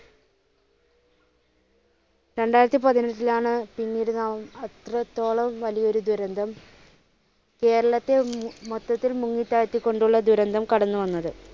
രണ്ടായിരത്തിപ്പതിനെട്ടിലാണ് പിന്നീട് നാം അത്രത്തോളം വലിയ ഒരു ദുരന്തം കേരളത്തെ മൊത്തത്തിൽ മുങ്ങി താഴ്ത്തി കൊണ്ടുള്ള ദുരന്തം കടന്നുവന്നത്.